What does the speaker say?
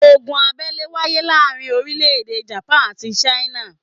Ogun abẹ́lé wáyé láàrin orílẹ̀ èdè Japan àti China